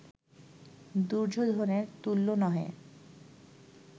দুর্যোধনের তুল্য নহে